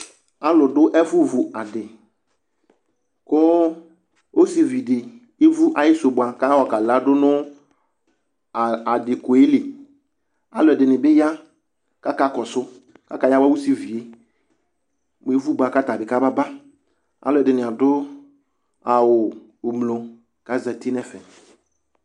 Aaluɖʋ ɛfu vu aɖʋkʋ ɔsiviɖi evu ayisu boa k'ayɔ kalaɖʋ nʋ aɖi koɛliaaluɛɖibi yaa k'akakɔsʋ, k'akayawua ɔsiviɛ, mʋ evuboa k'atabi kamabaAalʋɛɖini adʋ awu ʋblɔ k'azɛti n'ɛfɛ